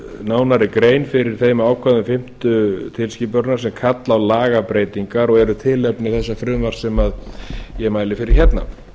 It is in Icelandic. nánari grein fyrir þeim ákvæðum fimmtu tilskipunarinnar sem kalla á lagabreytingar og eru tilefni þessa frumvarps sem ég mæli fyrir hérna